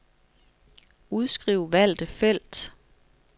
Udskriv valgte felt.